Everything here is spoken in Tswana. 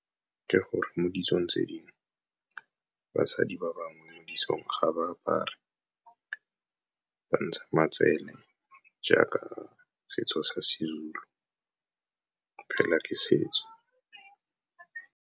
Ke gore mo ditsong tse dingwe basadi ba bangwe mo ditsong ga ba apare, ba ntsha matsele jaaka setso sa siZulu, fela ke setso.